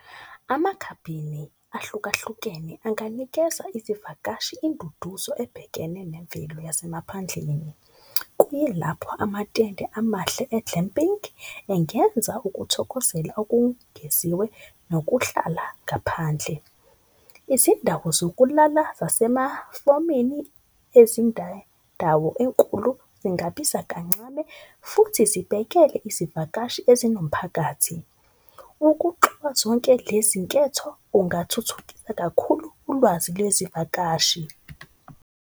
Amakhabhini ahlukahlukene anganikeza izivakashi induduzo ebhekene nemvelo yasemaphandleni. Kuyilapho amatende amahle engenza ukuthokozela okungeziwe nokuhlala ngaphandle. Izindawo zokulala zasemafomini enkulu ngingabiza kancane futhi zibhekele izivakashi ezinomphakathi. zonke lezi nketho kungathuthukisa kakhulu ulwazi lezivakashi.